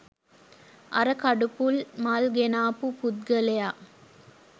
අර කඩුපුල් මල් ගෙනාපු පුද්ගලයා